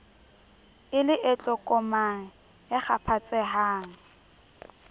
e le e tlokomang ekgaphatsehang